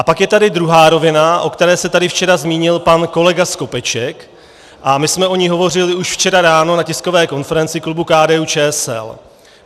A pak je tady druhá rovina, o které se tady včera zmínil pan kolega Skopeček, a my jsme o ní hovořili už včera ráno na tiskové konferenci klubu KDU-ČSL.